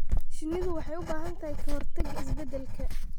Shinnidu waxay u baahan tahay ka-hortagga isbeddelka.